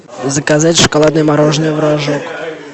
заказать шоколадное мороженое в рожок